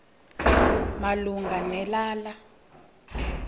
malunga ne lala